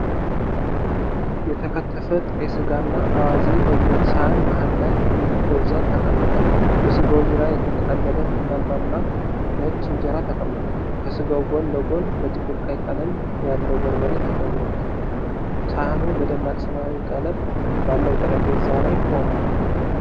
የተከተፈ ጥሬ ሥጋና አዋዜ በብረት ሳህን መሃል ላይ በብዛት ተቀምጧል። በሥጋው ዙሪያ የተጠቀለለ ቡናማ እና ነጭ እንጀራ ተቀምጧል። ከስጋው ጎን ለጎን በጥቁር ቀይ ቀለም ያለው በርበሬ ተጨምሮበታል። ሳህኑ በደማቅ ሰማያዊ ቀለም ባለው ጠረጴዛ ላይ ቆሟል።